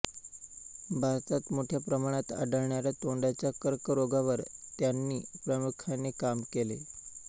भारतात मोठ्या प्रमाणात आढळणाऱ्या तोंडाच्या कर्करोगावर त्यांनी प्रामुख्याने काम केले